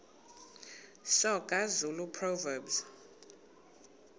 soga zulu proverbs